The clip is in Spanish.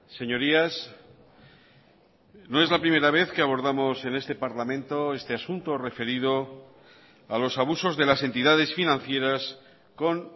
señorías no es la primera vez que abordamos en este parlamento este asunto referido a los abusos de las entidades financieras con